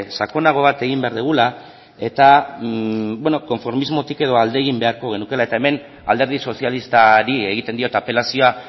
sakonago bat egin behar dugula eta konformismotik edo alde egin beharko genukeela eta hemen alderdi sozialistari egiten diot apelazioa